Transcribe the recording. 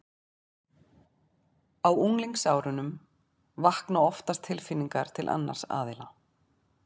Á unglingsárunum vakna oftast tilfinningar til annars aðila.